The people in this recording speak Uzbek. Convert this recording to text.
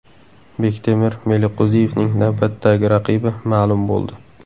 Bektemir Meliqo‘ziyevning navbatdagi raqibi ma’lum bo‘ldi.